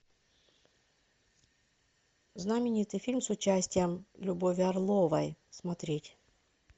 знаменитый фильм с участием любови орловой смотреть